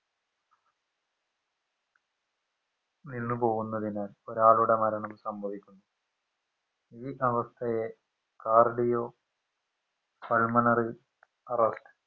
നിന്നുപോകുന്നതിനെ ഒരാളുടെ മരണം സംഭവിക്കുന്നു ഈ അവസ്ഥയെ cardio pulmonary arrest